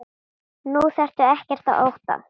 Nú þarftu ekkert að óttast.